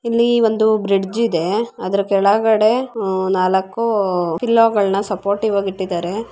ಇಲ್ಲಿ ಒಂದು ಬ್ರಿಡ್ಜ್ ಇದೆ ಅದರ ಕೆಳಗಡೆ ಆಹ್ಹ್ ನಾಲಕ್ಕು ಪಿಲ್ಲೋ ಗಳನ್ನ ಸುಪೋರ್ಟಿವ್ ಆಗಿ ಇಟ್ಟಿದ್ದಾರೆ.